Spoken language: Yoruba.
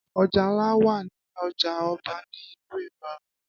Ọjà ńlá wà ní ọjà Ọba ni ìlú Ìlọrin